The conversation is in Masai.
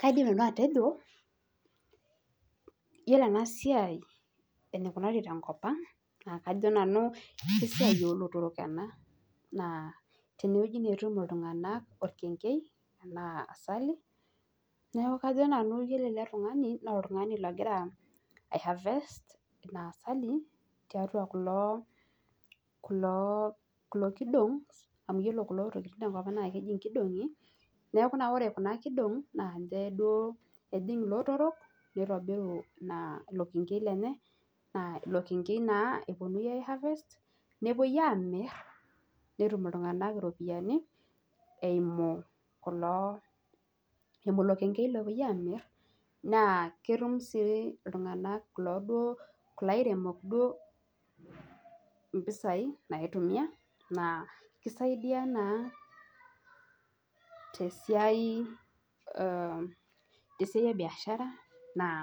Kaidim nanu atejo, iyiolo bena si,I eneikunari tenkop ang' naa kajo nanu kesiiai oolotorok ene. tene wueji naa etum iltunganak orkenkei ashu asali ore ele tungani egira ai harvest kulo kidong amu keji Kuna tokitin tenkop ang' inkidongi. amu ore Kuna kidong'i ninche ejing iltunganak nitobiru Ina ilo kenkei lenye. naa ilo kenkei naa epuonunui aitobir, nepuoi Aamir naitayuni iropiyiani. eimu kulo .ilo kenkei opuoi aamir. naa ketum sii iltunganak kulo duo. kulo airemok duo mpisai naitumia. naa kisaidia naa te siai,e biashara naa